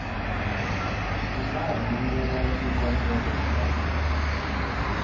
u nga rhumela xikombelo xa